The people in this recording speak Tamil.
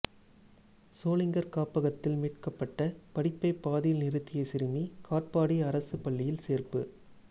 சோளிங்கர் காப்பகத்தில் மீட்கப்பட்ட படிப்பை பாதியில் நிறுத்திய சிறுமி காட்பாடி அரசு பள்ளியில் சேர்ப்பு